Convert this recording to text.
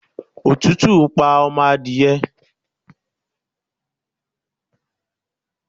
Òtútù pa ọmọ adìye